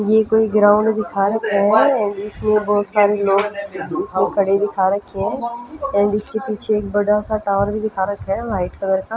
ये कोई ग्राउंड दिखा रखा है एंड इसके बहुत सारे इसमे खड़े दिखा रहे है एंड इसके पीछे एक बड़ा सा टावर भी दिखा रखा है वाइट कलर का--